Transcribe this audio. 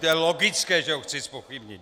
To je logické, že ho chci zpochybnit.